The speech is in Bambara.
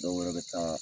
Dɔwɛrɛ bɛ taa